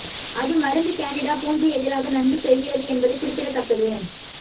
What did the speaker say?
அது மருந்து கேண்டிடா பூஞ்சை எதிராக நன்கு செய்கிறது என்பது குறிப்பிடத்தக்கது